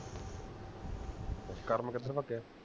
ਕਰਮ ਕਿੱਧਰ ਭਜਿਆ